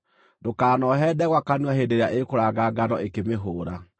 Ndũkanoohe ndegwa kanua hĩndĩ ĩrĩa ĩkũranga ngano ĩkĩmĩhũũra.